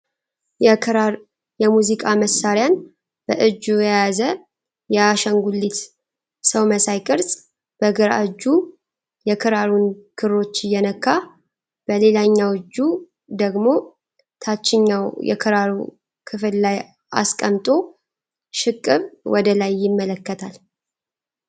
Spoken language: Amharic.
የክራር የሙዚቃ መሳሪያን በእጁ የያዘ የአሻንጉሊት ሰው መሳይ ቅርጽ፤ በግራ እጁ የክራሩን ክሮች እየነካ በሌላኛው እጁ ደግሞ ታችኛው የክራሩ ክፍል ላይ አስቀምጦ ሽቅብ ወደ ላይ ይመለከታል።